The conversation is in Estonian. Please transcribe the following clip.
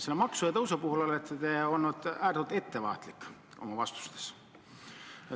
Maksude tõusu koha pealt te olete oma vastustes ääretult ettevaatlik olnud.